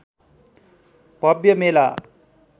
भव्य मेला